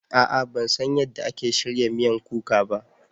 A'a ban san yadda ake shirya miyan kuka ba